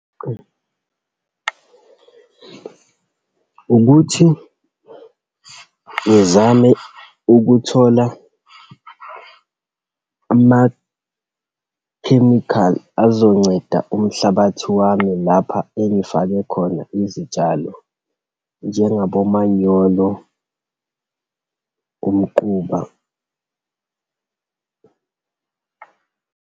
Ukuthi ngizame ukuthola amakhemikhali azokunceda umhlabathi wami lapha engifake khona izitshalo, njengabo omanyolo, umquba.